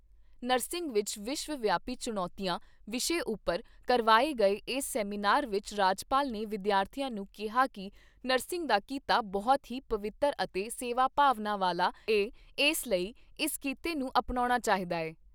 Nursing ਵਿਚ ਵਿਸ਼ਵ ਵਿਆਪੀ ਚੁਣੌਤੀਆਂ ਵਿਸ਼ੇ ਉਪਰ ਕਰਵਾਏ ਗਏ ਏਸ ਸੈਮੀਨਾਰ ਵਿਚ ਰਾਜਪਾਲ ਨੇ ਵਿਦਿਆਰਥੀਆਂ ਨੂੰ ਕਿਹਾ ਕਿ ਨਰਸਿੰਗ ਦਾ ਕਿੱਤਾ ਬਹੁਤ ਹੀ ਪਵਿੱਤਰ ਅਤੇ ਸੇਵਾ ਭਾਵਨਾ ਵਾਲਾ ਏ ਇਸ ਲਈ ਇਸ ਕਿੱਤੇ ਅਪਣਾਉਣਾ ਚਾਹੀਦਾ ਏ।